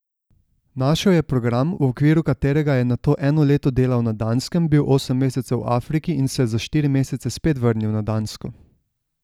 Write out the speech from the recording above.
Našel je program, v okviru katerega je nato eno leto delal na Danskem, bil osem mesecev v Afriki in se za štiri mesece spet vrnil na Dansko.